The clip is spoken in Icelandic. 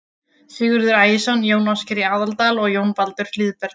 Sigurður Ægisson, Jón Ásgeir í Aðaldal og Jón Baldur Hlíðberg.